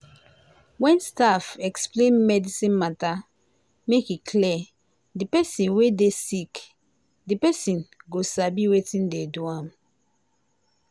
wen staff explain medicine mata make e clear de pesin wey dey sick de pesin go sabi wetin de do am.